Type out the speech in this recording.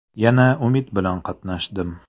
Yana umid bilan qatnashdim.